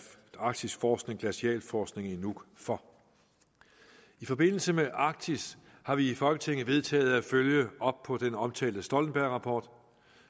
arktisk forskning glacialforskning i nuuk for i forbindelse med arktis har vi i folketinget vedtaget at følge op på den omtalte stoltenbergrapport